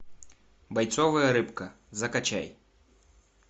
бойцовая рыбка закачай